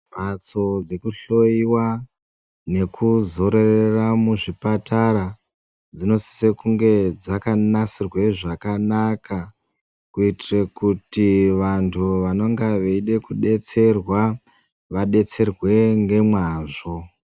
Mhatso dzekuhloyiwa nekuzororera muzvipatara dzinosisa kunge dzakanasirwe zvakanaka kuitire kuti vantu vanenge veide kudetserwa vadetserwe ngemwazvo.